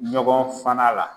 Ɲɔgɔn fana la